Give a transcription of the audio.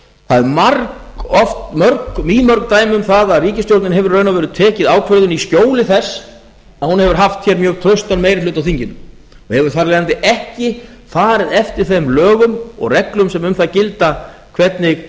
það eru mýmörg dæmi um það að ríkisstjórnin hefur í raun og veru tekið ákvörðun í skjóli þess að hún hefur haft hér mjög traustan meiri hluta á þinginu og hefur þar af leiðandi ekki farið eftir þeim lögum og reglum sem um það gilda hvernig